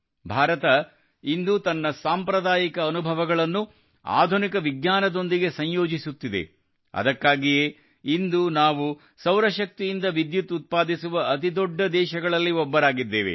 ಭಾರತವು ಇಂದು ತನ್ನ ಸಾಂಪ್ರದಾಯಿಕ ಅನುಭವಗಳನ್ನು ಆಧುನಿಕ ವಿಜ್ಞಾನದೊಂದಿಗೆ ಸಂಯೋಜಿಸುತ್ತಿದೆ ಅದಕ್ಕಾಗಿಯೇ ಇಂದು ನಾವು ಸೌರಶಕ್ತಿಯಿಂದ ವಿದ್ಯುತ್ ಉತ್ಪಾದಿಸುವ ಅತಿದೊಡ್ಡ ದೇಶಗಳಲ್ಲಿ ಒಂದೆನಿಸಿದ್ದೇವೆ